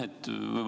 Aitäh!